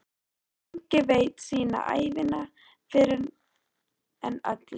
En enginn veit sína ævina fyrr en öll er.